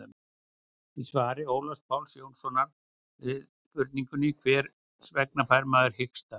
í svari ólafs páls jónssonar við spurningunni hvers vegna fær maður hiksta